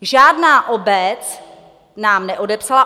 Žádná obec nám neodepsala.